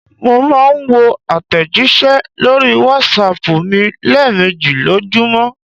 Mò n máa n wo àtẹ̀jísẹ́ lórí Wásaàpù mi léèmejì lójúmọ̀